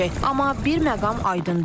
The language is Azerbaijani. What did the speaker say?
Amma bir məqam aydındır.